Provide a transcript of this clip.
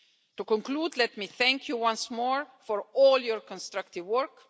To conclude, let me thank you once more for all your constructive work.